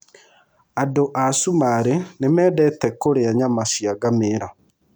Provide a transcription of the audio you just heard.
Andũ a Cumarĩ nĩ mendete kũrĩa nyama cia ngamĩĩra.